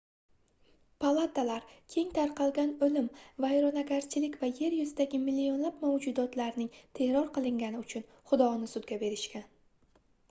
palatalar keng tarqalgan oʻlim vayronagarchilik va yer yuzidagi millionlab mavjudotlarning terror qilingani uchun xudoni sudga berishgan